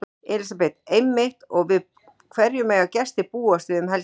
Elísabet: Einmitt og við hverju mega gestir búast við um helgina?